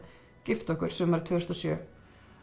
gifta okkur sumarið tvö þúsund og sjö